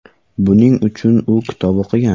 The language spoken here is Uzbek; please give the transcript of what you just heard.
Buning uchun u kitoblar o‘qigan.